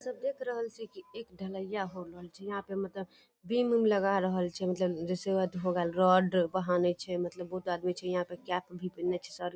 सब देख रहल छै की एक ढलैया हो रहल छै यहाँ पे मतलब विम-उम लगा रहल छै मतलब जैसे होगल रोड बांधे छै मतलब बहुत आदमी छै यहाँ पे कैप भी पीहिन्ने छै सर ।